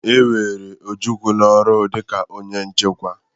E were Ojukwu n'ọrụ dịka onye nchekwa.